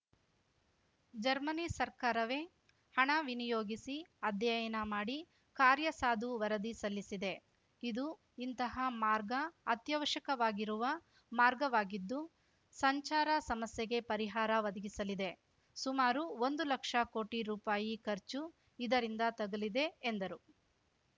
Germany ಸರ್ಕಾರವೇ ಹಣ ವಿನಿಯೋಗಿಸಿ ಅಧ್ಯಯನ ಮಾಡಿ ಕಾರ್ಯಸಾಧು ವರದಿ ಸಲ್ಲಿಸಿದೆ ಇದು ಇಂತಹ ಮಾರ್ಗ ಅತ್ಯವಶ್ಯಕವಾಗಿರುವ ಮಾರ್ಗವಾಗಿದ್ದು ಸಂಚಾರ ಸಮಸ್ಯೆಗೆ ಪರಿಹಾರ ಒದಗಿಸಲಿದೆ ಸುಮಾರು ಒಂದು ಲಕ್ಷ ಕೋಟಿ ರುಪಾಯಿ ಖರ್ಚು ಇದರಿಂದ ತಗಲಿದೆ ಎಂದರು